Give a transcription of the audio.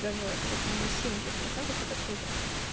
даже где-то на семьдесят процентов это круто